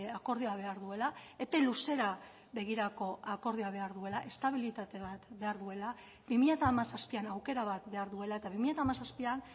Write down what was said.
akordioa behar duela epe luzera begirako akordioa behar duela estabilitate bat behar duela bi mila hamazazpian aukera bat behar duela eta bi mila hamazazpian